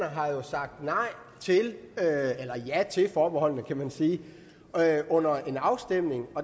har sagt ja til forbeholdene kan man sige under en afstemning